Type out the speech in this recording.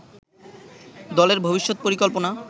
দলের ভবিষ্যৎ পরিকল্পনা